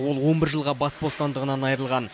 ол он бір жылға бас бостандығынан айырылған